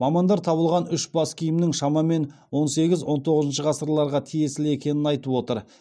мамандар табылған үш бас киімнің шамамен он сегіз он тоғызыншы ғасырларға тиесілі екенін айтып отыр